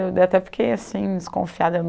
Eu até fiquei assim, desconfiada.